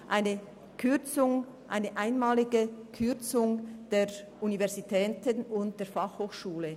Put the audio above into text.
Es geht um eine einmalige Kürzung bei der Universität und bei der BFH.